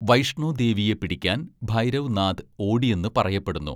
വൈഷ്ണോ ദേവിയെ പിടിക്കാൻ ഭൈരവ് നാഥ് ഓടിയെന്ന് പറയപ്പെടുന്നു.